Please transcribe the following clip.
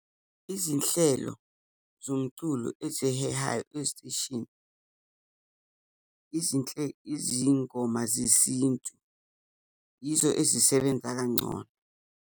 Izinhlelo zomculo ezihehayo kwiziteshini, izingoma zesintu, yizo ezisebenza kangcono.